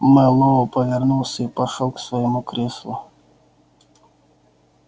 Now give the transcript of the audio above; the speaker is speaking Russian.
мэллоу повернулся и пошёл к своему креслу